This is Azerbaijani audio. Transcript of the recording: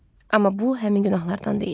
Amma bu həmin günahlardan deyildi.